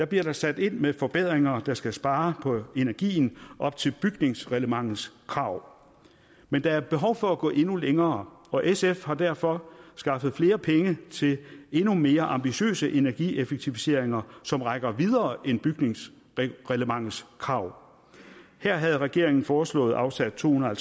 bliver der sat ind med forbedringer der skal spare på energien op til bygningsreglementets krav men der er behov for at gå endnu længere og sf har derfor skaffet flere penge til endnu mere ambitiøse energieffektiviseringer som rækker videre end bygningsreglementets krav her havde regeringen foreslået afsat to hundrede og